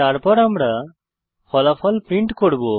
তারপর আমরা ফলাফল প্রিন্ট করব